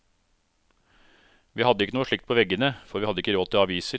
Vi hadde ikke noe slikt på veggene, for vi hadde ikke råd til aviser.